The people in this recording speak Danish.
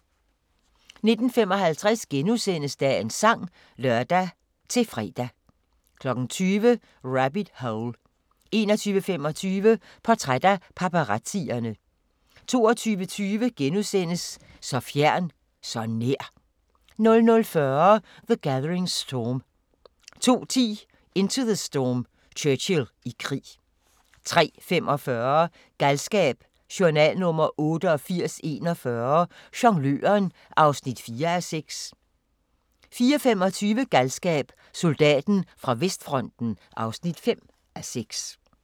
19:55: Dagens sang *(lør-fre) 20:00: Rabbit Hole 21:25: Portræt af paparazzierne 22:20: Så fjern, så nær! * 00:40: The Gathering Storm 02:10: Into the Storm – Churchill i krig 03:45: Galskab: Journal nr. 8841 – Jongløren (4:6) 04:25: Galskab: Soldaten fra vestfronten (5:6)